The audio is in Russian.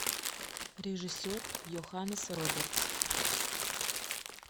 режиссер йоханнес робертс